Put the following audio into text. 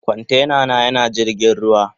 Kwantena na yana jirgin ruwa.